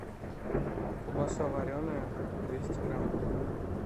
колбаса вареная двести грамм